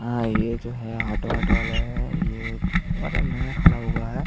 है ये जो है ऑटो वोटो वाला हैं ये मतलब नया खड़ा हुआ है।